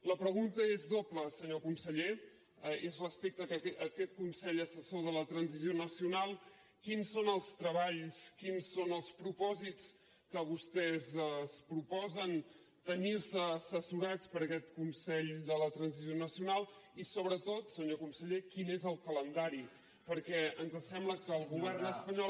la pregunta és doble senyor conseller és respecte a aquest consell assessor de la transició nacional quins són els treballs quins són els propòsits que vostès es proposen tenir se assessorats per aquest consell de la transició nacional i sobretot senyor conseller quin és el calendari perquè ens sembla que el govern espanyol